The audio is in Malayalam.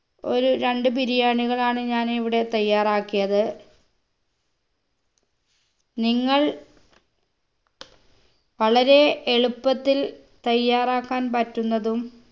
ഒരു രണ്ട് ബിരിയാണികളാണ് ഞാൻ ഇവിടെ തയ്യാറാക്കിയത് നിങ്ങൾ വളരെ എളുപ്പത്തിൽ തയ്യാറാക്കാൻ പറ്റുന്നതും